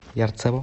ярцево